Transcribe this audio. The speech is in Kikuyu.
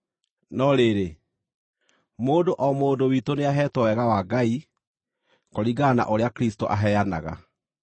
No rĩrĩ, mũndũ o mũndũ witũ nĩaheetwo wega wa Ngai, kũringana na ũrĩa Kristũ aheanaga.